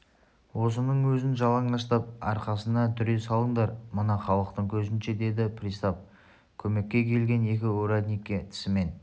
осының өзін жалаңаштап арқасына дүре салыңдар мына халықтың көзінше деді пристав көмекке келген екі урядникке тісімен